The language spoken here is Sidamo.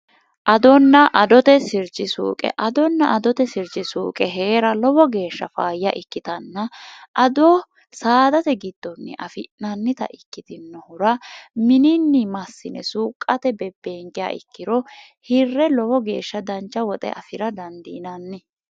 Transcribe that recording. adonna adote sirci suuqe adonna adote sirji suuqe hee'ra lowo geeshsha faayya ikkitanna ado saadate giddonni afi'nannita ikkitinohura mininni massine suuqqate bebbeengea ikkiro hirre lowo geeshsha dancha woxe afi'ra dandiinanni